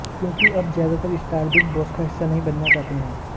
क्योंकि अब ज्यादातर स्टार बिग बॉस का हिस्सा नहीं बनना चाहता है